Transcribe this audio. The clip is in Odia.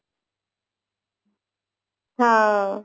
ହଁ